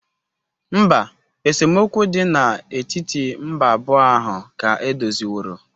Mba, esemokwu dị n'etiti mba abụọ ahụ ka edoziworo.